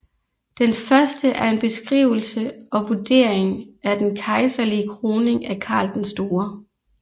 Den første er en beskrivelse og vurdering af den kejserlige kroning af Karl den Store